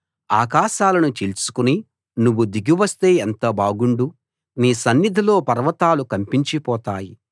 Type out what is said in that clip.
ఆకాశాలను చీల్చుకుని నువ్వు దిగివస్తే ఎంత బాగుండు నీ సన్నిధిలో పర్వతాలు కంపించి పోతాయి